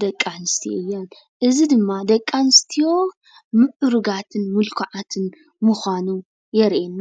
ደቂ ኣንስትዮ እየን። እዚ ድማ ደቂ ኣንስትዮ ሞዕሩጋትን ምልኩዓትን ምኳኑ የሪኤና።